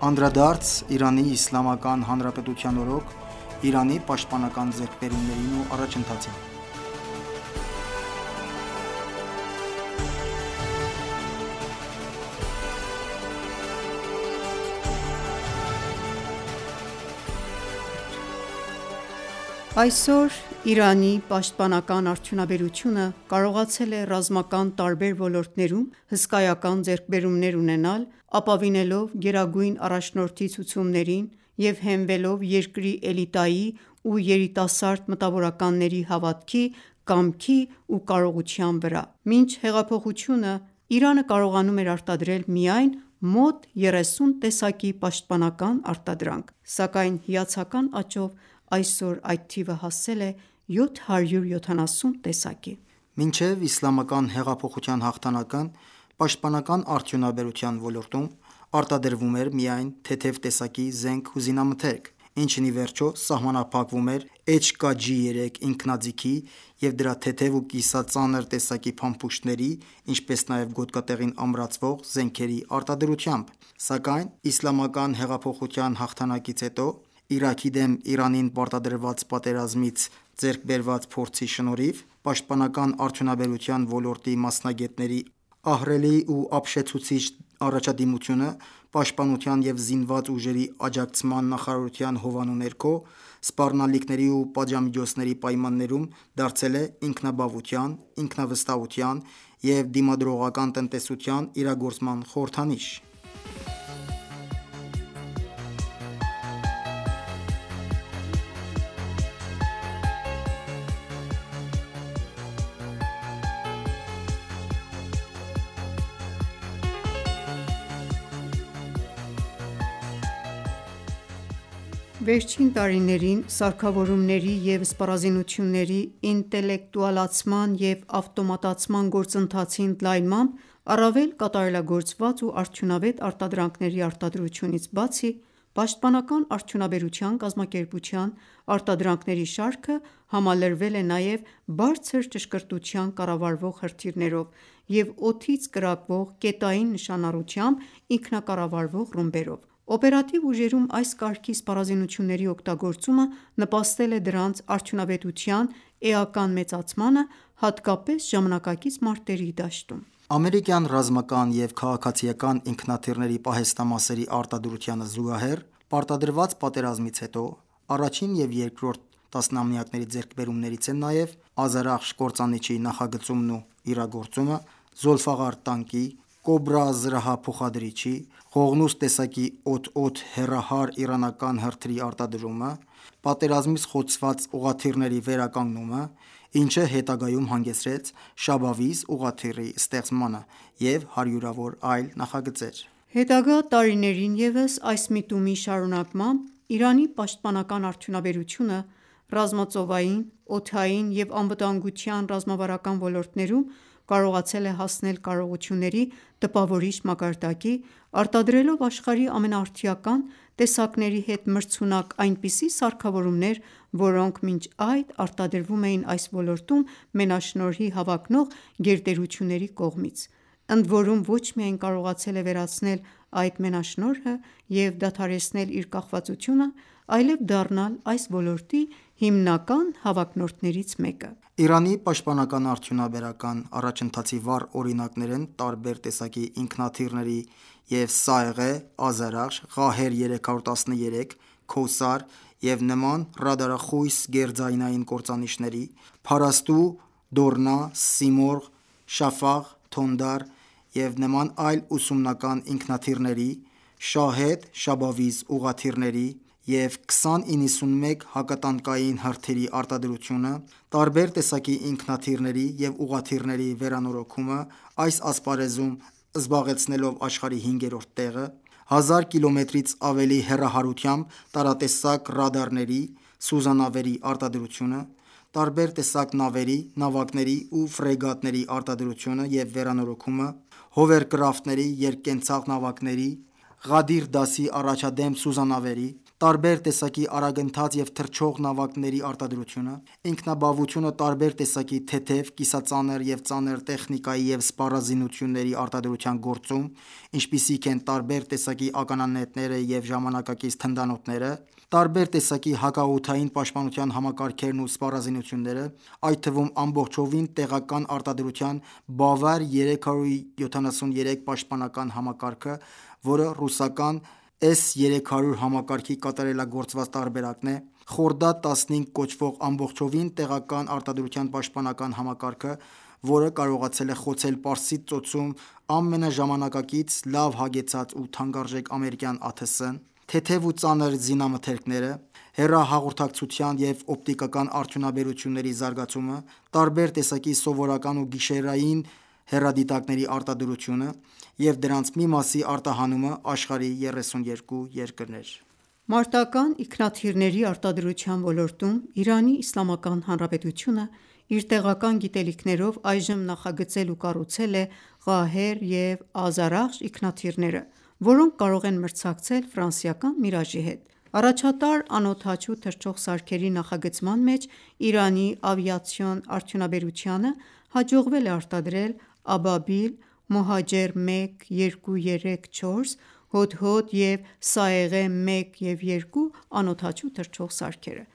Անդրադարձ Իրանի Իսլամական Հանրապետության օրոք Իրանի պաշտպանական ձեռքբերումներին ու առաջընթացին Այսօր Իրանի պաշտպանական արդյունաբերությունը կարողացել է ռազմական տարբեր ոլորտներում հսկայական ձեռքբերումներ ունենալ՝ ապավինելով Գերագույն առաջնորդի ցուցումներին, և հենվելով երկրի էլիտայի ու երիտասարդ մտավորականների հավատքի, կամքի ու կարողության վրա: Մինչ հեղափոխությունը Իրանը կարողանում էր արտադրել միայն մոտ 30 տեսակի պաշտպանական արտադրանք, սակայն հիացական աճով այսօր այդ թիվը հասել է 770 տեսակի։ Մինչև Իսլամական հեղափոխության հաղթանակն պաշտպանական արդյունաբերության ոլորտում արտադրվում էր միայն թեթև տեսակի զենք ու զինամթերք, ինչն ի վերջո սահմանափակվում էր HK-G3 ինքնաձիգի և դրա թեթև ու կիսածանր տեսակի փամփուշտների, ինչպես նաև գոտկատեղին ամրացվող զենքերի արտադրությամբ։ Սակայն Իսլամական հեղափոխության հաղթանակից հետո, Իրաքի դեմ Իրանին պարտադրված պատերազմից ձեռք բերված փորձի շնորհիվ, պաշտպանական արդյունաբերության ոլորտի մասնագետների ահռելի ու ապշեցուցիչ առաջադիմությունը, Պաշտպանության և զինված ուժերի աջակցման նախարարության հովանու ներքո, սպառնալիքների ու պատժամիջոցների պայմաններում դարձել է ինքնաբավության, ինքնավստահության և դիմադրողական տնտեսության իրագործման խորհրդանիշ։ Վերջին տարիներին սարքավորումների և սպառազինությունների ինտելեկտուալացման և ավտոմատացման գործընթացի ընդլայնմամբ, առավել կատարելագործված ու արդյունավետ արտադրանքների արտադրությունից բացի, պաշտպանական արդյունաբերության կազմակերպության արտադրանքների շարքը համալրվել է նաև բարձր ճշգրտության կառավարվող հրթիռներով, և օդից կրակվող կետային նշանառությամբ ինքնակառավարվող ռումբերով: Օպերատիվ ուժերում այս կարգի սպառազինությունների օգտագործումն նպաստել է դրանց արդյունավետության էական մեծացմանը, հատկապես ժամանակակից մարտերի դաշտում: Ամերիկյան ռազմական և քաղաքացիական ինքնաթիռների պահեստամասերի արտադրությանը զուգահեռ, պարտադրված պատերազմից հետո առաջին և երկրորդ տասնամյակների ձեռքբերումներից են նաև «Ազարախշ» կործանիչի նախագծումն ու իրագործումը, «Զոլֆաղար» տանկի, «Կոբրա» զրահափոխադրիչի, «Ղողնուս» տեսակի «օդ-օդ» հեռահար իրանական հրթիռի արտադրումը, պատերազմից խոցված ուղղաթիռների վերականգնումը, ինչը հետագայում հանգեցրեց «Շաբավիզ» ուղղաթիռի ստեղծմանը, և հարյուրավոր այլ նախագծեր։ Հետագա տարիներին ևս այս միտումի շարունակմամբ, Իրանի պաշտպանական արդյունաբերությունը ռազմածովային, օդային և անվտանգության ռազմավարական ոլորտներում կարողացել է հասնել կարողությունների տպավորիչ մակարդակի՝ արտադրելով աշխարհի ամենաարդիական տեսակների հետ մրցունակ այնպիսի սարքավորումներ, որոնք մինչ այդ արտադրվում էին այս ոլորտում մենաշնորհի հավակնող գերտերությունների կողմից, ընդորում ոչ միայն կարողացել է վերացնել այդ մենաշնորհը և դադարեցնել իր կախվածությունը, այլև դառնալ այս ոլորտի հիմնական հավակնորդներից մեկը։ Իրանի պաշտպանական արդյունաբերության առաջընթացի վառ օրինակներ են տարբեր տեսակի ինքնաթիռների և «Սաեղե», «Ազարախշ», «Ղահեր-313», «Քոսար» և նման ռադարախույս գերձայնային կործանիչների, «Փարասթու», «Դորնա», «Սիմորղ», «Շաֆաղ», «Թոնդար» և նման այլ ուսումնական ինքնաթիռների, «Շահեդ», «Շաբավիզ» ուղղաթիռների և «2091» հակատանկային հրթիռի արտադրությունը, տարբեր տեսակի ինքնաթիռների և ուղղաթիռների վերանորոգումը՝ այս ասպարեզում զբաղեցնելով աշխարհի հինգերորդ տեղը, հազար կիլոմետրից ավելի հեռահարությամբ տարատեսակ ռադարների, սուզանավերի արտադրությունը, տարբեր տեսակ նավերի, նավակների ու ֆրեգատների արտադրությունը և վերանորոգումը, հովերկրաֆտների՝երկկենցաղ նավակների, «Ղադիր» դասի առաջադեմ սուզանավերի, տարբեր տեսակի արագընթաց և թռչող նավակների արտադրությունը, ինքնաբավությունը տարբեր տեսակի թեթև, կիսածանր և ծանր տեխնիկայի և սպառազինությունների արտադրության գործում, ինչպիսիք են՝ տարբեր տեսակի ականանետերը և ժամանակակից թնդանոթները, տարբեր տեսակի հակաօդային պաշտպանության համակարգերն ու սպառազինությունները, այդ թվում ամբողջովին տեղական արտադրության «Բավար 373» պաշտպանական համակարգը, որը ռուսական С-300 համակարգի կատարելագործված տարբերակն է, «Խորդադ-15» կոչվող ամբողջովին տեղական արտադրության պաշտպանական համակարգը, որը կարողացել է խոցել Պարսից ծոցում ամենաժամանակակից, լավ հագեցած ու թանկարժեք ամերիկյան ԱԹՍ-ն, թեթև ու ծանր զինամթերքները, հեռահաղորդակցության և օպտիկական արդյունաբերությունների զարգացումը, տարբեր տեսակի սովորական ու գիշերային հեռադիտակների արտադրությունը և դրանց մի մասի արտահանումը աշխարհի 32 երկրներ։ Մարտական ինքնաթիռների արտադրության ոլորտում Իրանի Իսլամական Հանրապետությունը իր տեղական գիտելիքներով այժմ նախագծել ու կառուցել է «Ղահեր» և «Ազարախշ» ինքնաթիռները, որոնք կարող են մրցակցել ֆրանսիական «Միրաժի» հետ։ Առաջատար անօդաչու թռչող սարքերի (ԱԹՍ) նախագծման մեջ Իրանի ավիացիոն արդյունաբերությանը հաջողվել է արտադրել «Աբաբիլ», «Մոհաջեր 1, 2, 3, 4», «Հոդհոդ» և «Սայեղեհ 1, 2» ԱԹՍ-ները։